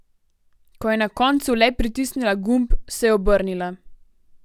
Ko je na koncu le pritisnila gumb, se je obrnila.